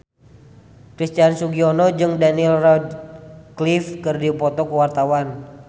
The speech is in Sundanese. Christian Sugiono jeung Daniel Radcliffe keur dipoto ku wartawan